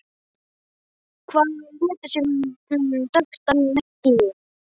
Hvað ef hún léti sem hún þekkti hann ekki?